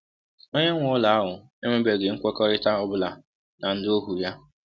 Onye nwe ụlọ ahụ enwebeghị nkwekọrịta ọ bụla na ndị ohu ya.